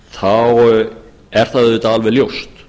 þá er það auðvitað alveg ljóst